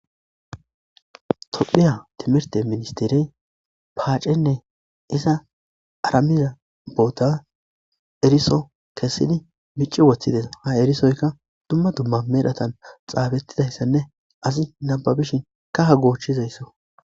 tophiya timirte ministirey paacenne iza aramiza boota eriso kessidi mici woththides ha erisoyka dumma dumma medhotan xaafettidayssanne asi nababishin kaha goochchizaysso